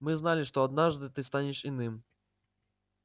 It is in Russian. мы знали что однажды ты станешь иным